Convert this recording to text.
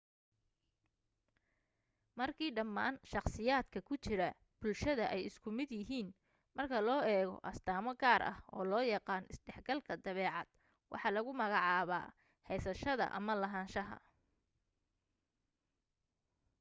markii dhammaan shakhsiyaadka ku jira bulshada ay isku mid yihiin marka loo eego astaamo gaar ah oo loo yaqaan isdhexgalka dabeecad waxaa lagu magacaabaa heysashada ama lahanshaha